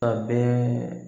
A bɛɛ